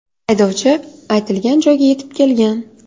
Haydovchi aytilgan joyga yetib kelgan.